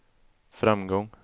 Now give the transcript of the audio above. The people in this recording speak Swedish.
framgång